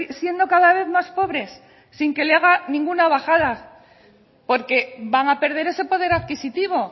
siendo cada vez más pobres sin que le haga ninguna bajada porque van a perder ese poder adquisitivo